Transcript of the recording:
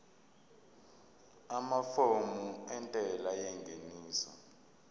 amafomu entela yengeniso